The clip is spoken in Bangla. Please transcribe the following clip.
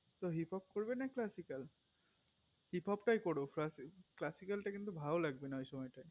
তো hippo করবে না classical hippo টাই করো classical কিন্তু ভালো লাগবে না ওই সময়তে